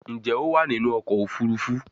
Njé o wá nínú ọkọ̀ òfurufú?